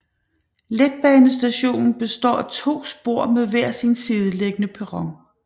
Letbanestationen består af to spor med hver sin sideliggende perron